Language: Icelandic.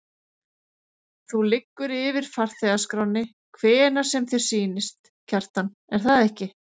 Þú liggur yfir farþegaskránni hvenær sem þér sýnist, Kjartan, er það ekki?